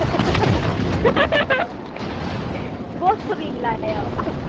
ਬਹੁਤ ਸੁਰੀਲਾ ਆ ਉਹ